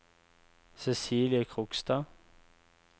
Cecilie Krogstad